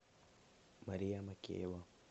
мария макеева